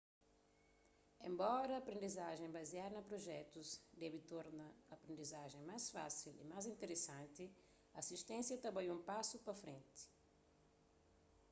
enbora aprendizajen baziadu na prujetus debe torna aprendizajen más fásil y más interesanti asisténsia ta bai un pasu pa frenti